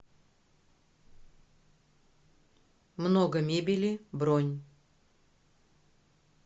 много мебели бронь